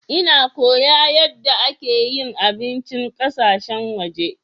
Nna koya yadde ake yin abincin ƙasashen waje.